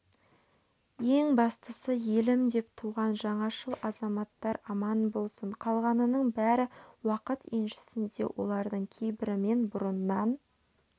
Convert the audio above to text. ең бастысы елім деп туған жаңашыл азаматтар аман болсын қалғанының бәрі уақыт еншісінде олардың кейбірімен бұрыннан